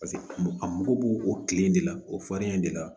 a mago b'o o kile in de la o farinya in de la